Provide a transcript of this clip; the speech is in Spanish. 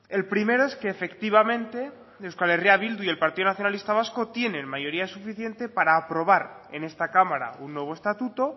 el primero es que efectivamente euskal herria bildu y el partido nacionalista vasco tienen mayoría suficiente para aprobar en esta cámara un nuevo estatuto